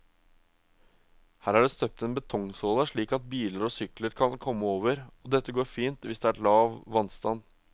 Her er det støpt en betongsåle slik at biler og sykler kan komme over, og dette går fint hvis det er lav vannstand.